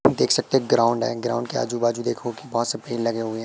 देख सकते ग्राउंड है ग्राउंड के आजू बाजू देखो कि बहोत से पेड लगे हुए।